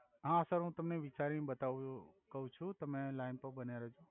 હા સર હુ તમને વિચારી ને બતાવુ છુ કવ છુ તમે લાઇન પર બન્યા રેહ્જો